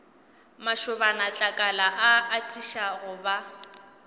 mašobanatlakala a atiša go ba